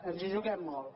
ens hi juguem molt